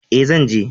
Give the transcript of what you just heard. E, zan je.